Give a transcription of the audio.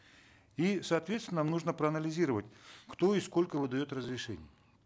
и соответственно нужно проанализировать кто и сколько выдает разрешений